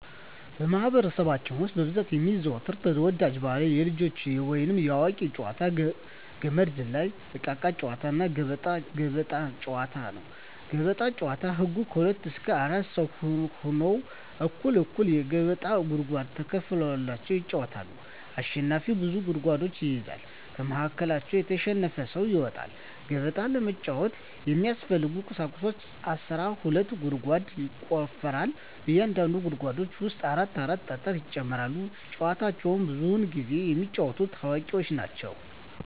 በማህበረሰባችን ውስጥ በብዛት የሚዘወተሩ ተወዳጅ ባህላዊ የልጆች ወይንም የአዋቂዎች ጨዋታዎች - ገመድ ዝላይ፣ እቃቃ ጨዎታ፣ ገበጣ። ገበጣ ጨዎታ ህጎች ከሁለት እስከ አራት ሰው ሁነው እኩል እኩል የገበጣ ጉድጓድ ተከፋፍለው ይጫወታሉ አሸናፊው ብዙ ጉድጓዶችን ይይዛል ከመሀከላቸው የተሸነፈው ሰው ይወጣል። ገበጣ ለመጫወት የሚያስፈልጊ ቁሳቁሶች አስራ ሁለት ጉድጓድ ይቆፈራል በእያንዳንዱ ጉድጓድ ውስጥ አራት አራት ጠጠር ይጨመራል። ጨዎቸውን ብዙውን ጊዜ የሚጫወቱት አዋቂዎች ናቸው።